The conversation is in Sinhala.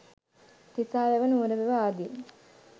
තිසා වැව නුවර වැව ආදී